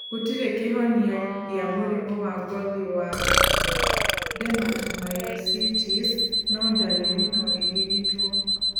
Gũtirĩ kĩhonia gĩa mũrimũ wa ngothi wa dermatomyositis no darĩrĩ no irigitwo